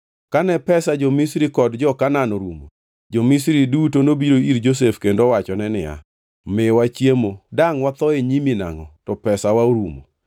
Kane pesa jo-Misri kod jo-Kanaan orumo, jo-Misri duto nobiro ir Josef kendo owachone niya, “Miwa chiemo, dangʼ watho e nyimi nangʼo to pesawa orumo?”